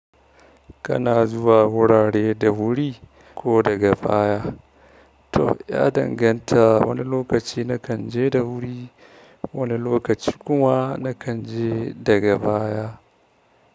Kana zuwa wurare da wuri ko daga baya. To ya danganta wani lokaci na kan je da wuri, wani lokaci kuma na kan je daga baya.